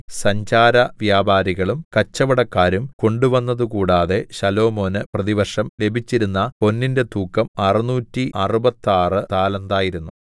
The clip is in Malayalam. സഞ്ചാരവ്യാപാരികളും കച്ചവടക്കാരും കൊണ്ടുവന്നതുകൂടാതെ ശലോമോന് പ്രതിവർഷം ലഭിച്ചിരുന്ന പൊന്നിന്റെ തൂക്കം അറുനൂറ്റി അറുപത്താറ് താലന്ത് ആയിരുന്നു